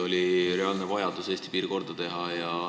Oli reaalne vajadus Eesti piir korda teha.